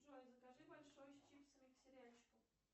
джой закажи большой с чипсами к сериальчику